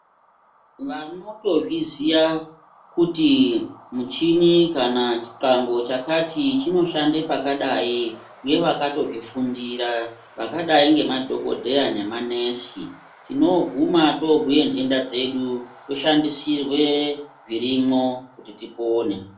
Vanotozviziya kuti michini kana chitambo chakati chinoshande pakadai nevakatozvifundira vakadai ngemadhokodheya nemanesi tinooguma toobhuye ndenda dzedu toshandisirwe zvirimwo kuti tipone.